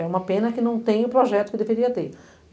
É uma pena que não tem o projeto que deveria ter.